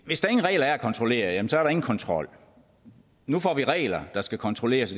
hvis der ingen regler er at kontrollere jamen så er der ingen kontrol nu får vi regler der skal kontrolleres